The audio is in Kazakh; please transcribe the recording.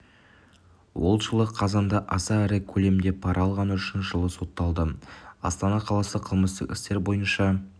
ол жылы қазанда аса ірі көлемде пара алғаны үшін жылға сотталды астана қаласы қылмыстық істер бойынша